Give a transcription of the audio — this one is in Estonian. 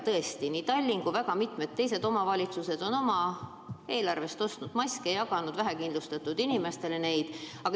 Tõesti, nii Tallinn kui ka mitmed teised omavalitsused on oma eelarve raha eest ostnud maske ja jaganud neid vähekindlustatud inimestele.